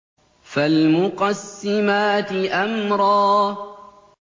فَالْمُقَسِّمَاتِ أَمْرًا